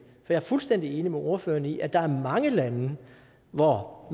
jeg er fuldstændig enig med ordføreren i at der er mange lande hvor